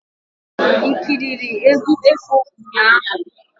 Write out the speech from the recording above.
I ekiri egwu ekpo ụnyaahụ?